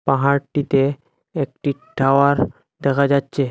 পাহাড়টিতে একটি টাওয়ার দেখা যাচ্ছে।